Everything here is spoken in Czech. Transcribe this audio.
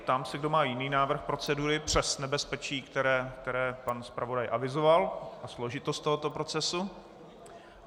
Ptám se, kdo má jiný návrh procedury přes nebezpečí, které pan zpravodaj avizoval, a složitost tohoto procesu.